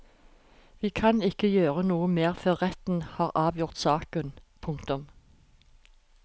Vi kan ikke gjøre noe mer før retten har avgjort saken. punktum